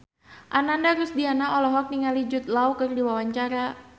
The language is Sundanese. Ananda Rusdiana olohok ningali Jude Law keur diwawancara